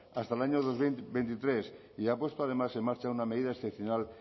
hasta el año dos mil veintitrés y ha puesto además en marcha una medida excepcional